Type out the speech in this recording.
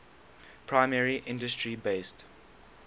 primary industry based